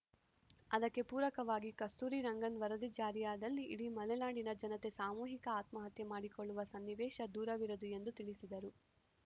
ಅದಕ್ಕೆ ಪೂರಕವಾಗಿ ಕಸ್ತೂರಿರಂಗನ್‌ ವರದಿ ಜಾರಿಯಾದಲ್ಲಿ ಇಡೀ ಮಲೆನಾಡಿನ ಜನತೆ ಸಾಮೂಹಿಕ ಆತ್ಮಹತ್ಯೆ ಮಾಡಿಕೊಳ್ಳುವ ಸನ್ನಿವೇಶ ದೂರವಿರದು ಎಂದು ತಿಳಿಸಿದರು